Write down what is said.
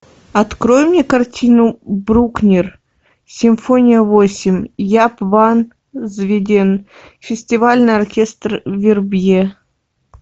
открой мне картину брукнер симфония восемь яп ван зведен фестивальный оркестр вербье